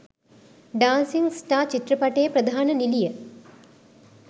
dancing star චිත්‍රපටයේ ප්‍රධාන නිළිය